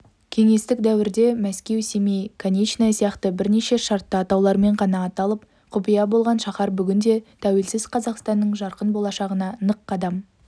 кеңестік дәуірде мәскеу семей конечная сияқты бірнеше шартты атаулармен ғана аталып құпия болған шаһар бүгінде тәуелсіз қазақстанның жарқын болашағына нық қадам